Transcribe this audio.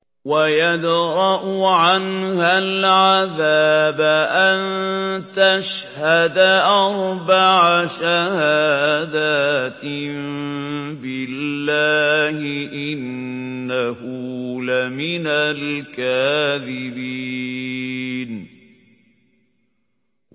وَيَدْرَأُ عَنْهَا الْعَذَابَ أَن تَشْهَدَ أَرْبَعَ شَهَادَاتٍ بِاللَّهِ ۙ إِنَّهُ لَمِنَ الْكَاذِبِينَ